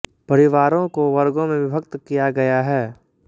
परिवारों को वर्गों में विभक्त किया गया है